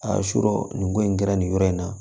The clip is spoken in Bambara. A y'a sɔrɔ nin ko in kɛra nin yɔrɔ in na